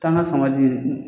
Taa n ka sama di